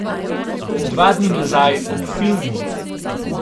Dva dni nazaj, ob filmu.